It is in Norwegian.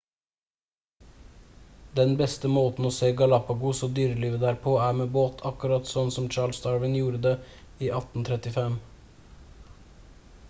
den beste måten å se galapagos og dyrelivet der på er med båt akkurat sånn som charles darwin gjorde det i 1835